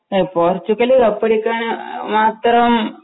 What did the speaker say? A Portugal കപ്പടിക്കാന് ആ മാത്രം